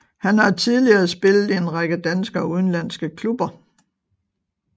Han har tidligere spillet i en række danske og udenlandske klubber